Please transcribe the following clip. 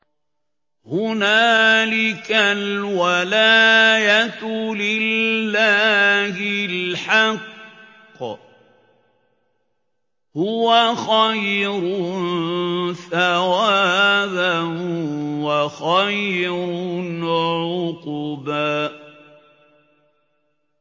هُنَالِكَ الْوَلَايَةُ لِلَّهِ الْحَقِّ ۚ هُوَ خَيْرٌ ثَوَابًا وَخَيْرٌ عُقْبًا